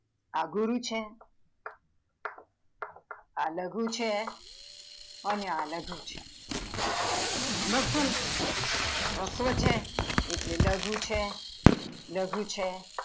આ ગુરુ છે, આ લઘુ છે, અને આ લઘુ છે, ભાસલ હસ્વ છે એટલે લઘુ છે લઘુ છે